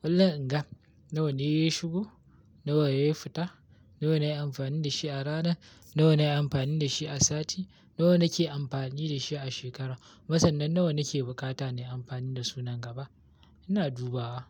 kullum in ga nawa ne ya shigo, nawa ne ya fita, nawa na yi amfani da shi a rana, nawa na yi amfani da shi a sati, nawa nake amfani da shi a shekara. Kuma sanan nawa nake bukata na yi amfani da su nan gaba. Ina dubawa.